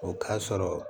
O k'a sɔrɔ